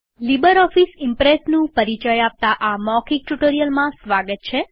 LibreOffice ઈમ્પ્રેસનું પરિચય આપતા આ મૌખિક ટ્યુટોરીયલમાં સ્વાગત છે